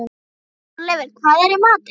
Þorleifur, hvað er í matinn?